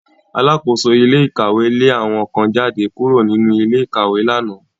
Alákóso ilé ìkàwé lé àwọn kan jáde kúrò nínú ilé ìkàwé lánàá